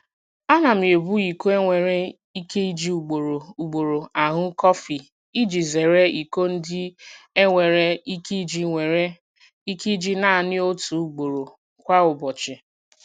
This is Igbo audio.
Ana m ebu iko e nwere ike iji ugboro ugboro aṅụ kọfị iji zeere iko ndị e nwere ike iji nwere ike iji naanị otu ugboro kwa ụbọchị.